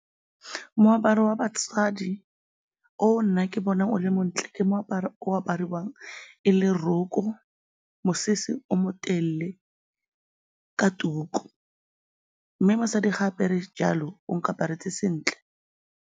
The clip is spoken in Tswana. Moaparo wa o nna ke bonang o le montle ke moaparo o apariwang e le roko, mosese o motelele ka tuku mme mosadi fa a apere jalo, o nkaparetse sentle.